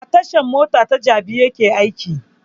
A tashan mota ta jabi yake aiki